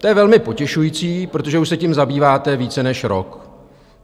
To je velmi potěšující, protože už se tím zabýváte více než rok.